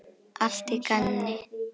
Allt í gamni.